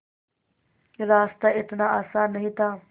रास्ता इतना आसान नहीं था